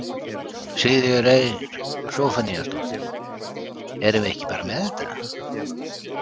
Sigríður Eir Zophoníasdóttir: Erum við ekki bara með þetta?